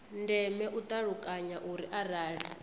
ndeme u ṱalukanya uri arali